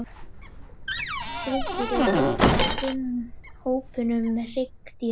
Skriðdýr er einn af fimm hópum hryggdýra.